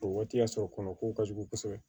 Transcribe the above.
O waati y'a sɔrɔ kɔnɔ ko ka jugu kosɛbɛ